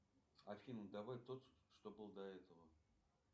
афина давай тот что был до этого